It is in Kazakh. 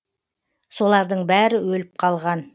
солардың бәрі өліп қалған